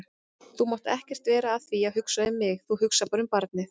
Þú mátt ekkert vera að því að hugsa um mig, þú hugsar bara um barnið.